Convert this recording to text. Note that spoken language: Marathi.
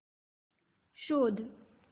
शोध